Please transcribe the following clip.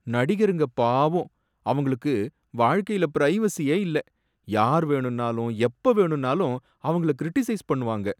நடிகருங்க பாவம்! அவங்களுக்கு வாழ்க்கைல பிரைவசியே இல்ல, யார் வேணும்னாலும் எப்ப வேணும்னாலும் அவங்கள கிரிடிசைஸ் பண்ணுவாங்க.